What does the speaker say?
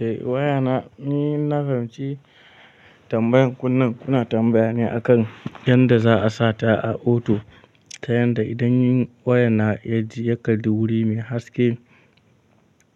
Eh waya na, ni in na fahimci tambayan ku nan kuna tambaya ne akan yanda za a sata a oto ta yanda idan waya na ya ji yakalli guri mai haske